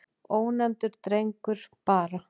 Ónefndur drengur: Bara.